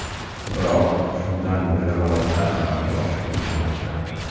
Biroq shundan beri loyiha amalga oshmay kelmoqda.